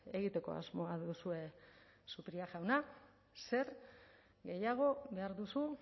egiteko asmoa duzue zupiria jauna zer gehiago behar duzu